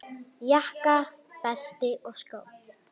Jakka, belti og skó.